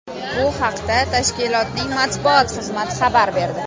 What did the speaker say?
Bu haqda tashkilotning matbuot xizmati xabar berdi .